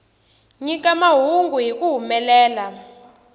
nyika mahungu hi ku humelela